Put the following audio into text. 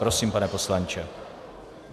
Prosím, pane poslanče.